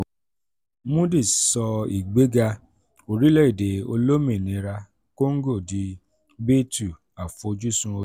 moody sọ ìgbéga orílẹ̀-èdè olómìnira kóngò di b two àfojúsùn